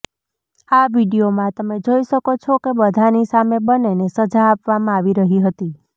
આ વિડિયોમાં તમે જોઈ શકો છો કે બધાની સામે બન્નેને સજા આપવામાં આવી રહી હતી